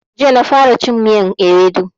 Jiya na fara cin miyan ewedu